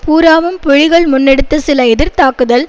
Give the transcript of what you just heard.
பூராவும் புலிகள் முன்னெடுத்த சில எதிர்தாக்குதல்